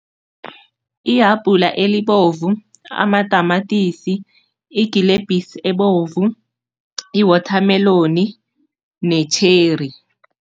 Ihabhula elibovu, amatamatisi, igilebhisi ebovu, iwothameloni ne-cherry.